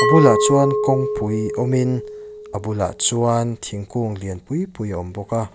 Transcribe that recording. bulah chuan kawngpui awm in a bulah chuan thingkung lian pui pui a awm bawk a.